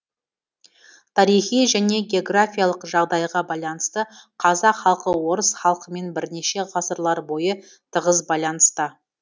тарихи және географиялық жағдайға байланысты қазақ халқы орыс халқымен бірнеше ғасырлар бойы тығыз байланыста